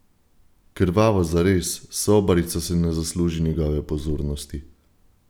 Krvavo zares, sobarica si ne zasluži njegove pozornosti!